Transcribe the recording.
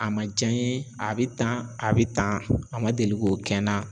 A ma ja n ye a bɛ tan a bɛ tan a ma deli k'o kɛ n na